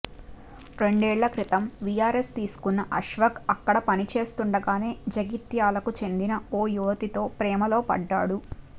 రెండేళ్ల క్రితం వీఆర్ఎస్ తీసుకున్న అష్వఖ్ అక్కడ పనిచేస్తుండగానే జగిత్యాలకు చెందిన ఓ యువతితో ప్రేమలో పడ్డాడు